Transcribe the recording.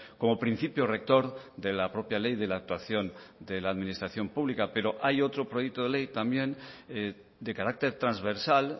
como principio rector de la propia ley de la actuación de la administración pública pero hay otro proyecto de ley también de carácter transversal